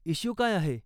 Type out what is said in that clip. Issue काय आहे ?